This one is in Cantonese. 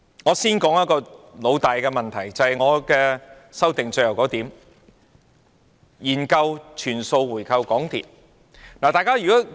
我先談一個老大的問題，便是我修正案的最後一點：研究全數回購港鐵。